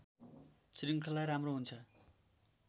श्रृङ्खला राम्रो हुन्छ